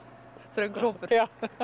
þröngur hópur já